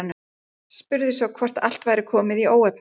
Spurði svo hvort allt væri komið í óefni.